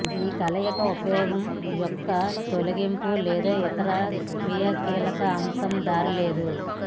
ఈ కలయిక ఉపయోగం యొక్క తొలగింపు లేదా ఇతర క్రియాశీలక అంశం దారి లేదు